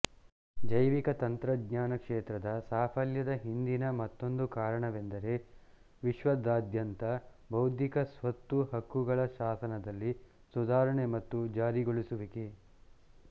ಜೈವಿಕ ತಂತ್ರಜ್ಞಾನ ಕ್ಷೇತ್ರದ ಸಾಫಲ್ಯದ ಹಿಂದಿನ ಮತ್ತೊಂದು ಕಾರಣವೆಂದರೆ ವಿಶ್ವಾದ್ಯಂತದ ಬೌದ್ಧಿಕ ಸ್ವತ್ತು ಹಕ್ಕುಗಳ ಶಾಸನದಲ್ಲಿ ಸುಧಾರಣೆ ಮತ್ತು ಜಾರಿಗೊಳಿಸುವಿಕೆ